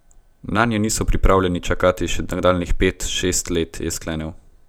Nanje niso pripravljeni čakati še nadaljnjih pet, šest let, je sklenil.